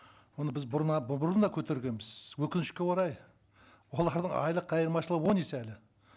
оны біз бұрын бұрын да көтергенбіз өкінішке орай олардың айлық айырмашылығы он есе әлі